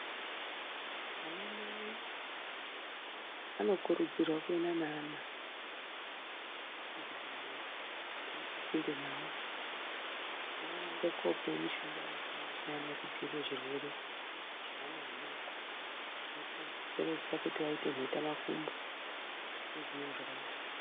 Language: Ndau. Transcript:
Anamai anokurudzirwa kuenda neana, kuchibhedhlera chiri pasinde navo, kuti aende koopiwe mishonga yakasiyana-siyana, yekudziirira zvirwere zveana adoko, zvinokonzeresa kuti aite mhetamakumbo, nezvimweni zvakadaro.